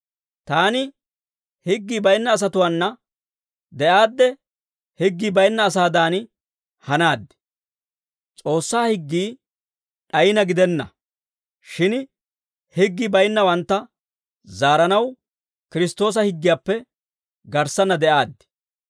Taani higgii baynna asatuwaana de'aadde, higgii baynna asaadan hanaad. S'oossaa higgii d'ayina gidenna. Shin higgii baynnawantta zaaranaw, Kiristtoosa higgiyaappe garssanna de'aaddi.